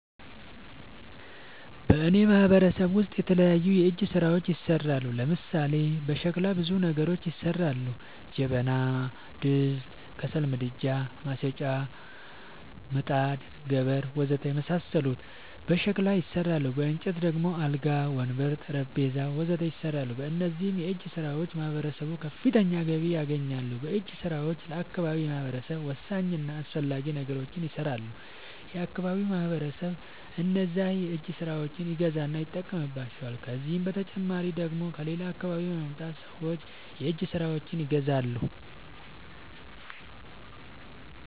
በእኔ ማህበረሰብ ውስጥ የተለያዩ የእጅ ስራዎች ይሠራሉ። ለምሳሌ፦ በሸክላ ብዙ ነገሮች ይሠራሉ። ጀበና፣ ድስት፣ ከሰል ምድጃ፣ ማጨሻ፣ ምጣድ፣ ገበር... ወዘተ የመሣሠሉት በሸክላ ይሠራሉ። በእንጨት ደግሞ አልጋ፣ ወንበር፣ ጠረንጴዛ..... ወዘተ ይሠራሉ። በእነዚህም የእጅስራዎች ማህበረሰቡ ከፍተኛ ገቢ ያገኛል። በእጅ ስራውም ለአካባቢው ማህበረሰብ ወሳኝ እና አስፈላጊ ነገሮች ይሠራሉ። የአካባቢው ማህበረሰብም እነዛን የእጅ ስራዎች ይገዛና ይጠቀምባቸዋል። ከዚህ በተጨማሪ ደግሞ ከሌላ አካባቢ በመምጣት ሠዎች የእጅ ስራዎቸችን ይገዛሉ።